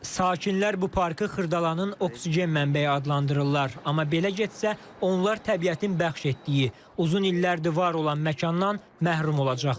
Sakinlər bu parkı Xırdalanın oksigen mənbəyi adlandırırlar, amma belə getsə, onlar təbiətin bəxş etdiyi, uzun illərdir var olan məkandan məhrum olacaqlar.